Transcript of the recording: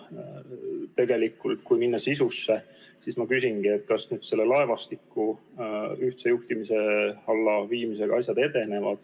Kui minna tegelikult sisusse, siis ma küsin, kas nüüd selle laevastiku ühtse juhtimise alla viimisega asjad edenevad.